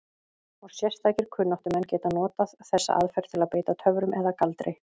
Og sérstakir kunnáttumenn geta notað þessa aðferð til að beita töfrum eða galdri.